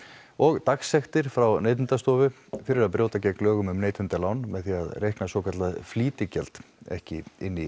og dagsektir frá Neytendastofu fyrir að brjóta gegn lögum um neytendalán með því að reikna svokallað flýtigjald ekki inn í